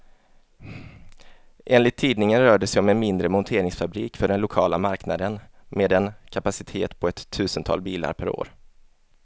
Enligt tidningen rör det sig om en mindre monteringsfabrik för den lokala marknaden, med en kapacitet på ett tusental bilar per år.